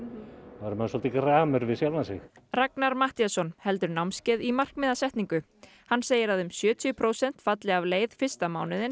þá verður maður gramur við sjálfan sig Ragnar Matthíasson heldur námskeið í markmiðasetningu hann segir að um sjötíu prósent falli af leið fyrsta mánuðinn